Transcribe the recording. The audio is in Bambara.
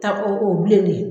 Ta ko o bilen de